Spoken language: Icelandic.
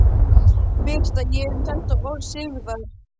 Birti ég um þetta orð Sigurðar